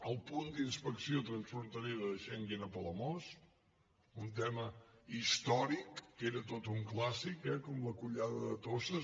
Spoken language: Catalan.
el punt d’inspecció trans·fronterera de schengen a palamós un tema històric que era tot un clàssic eh com la collada de toses